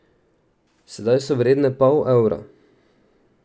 Sedaj so vredne pol evra.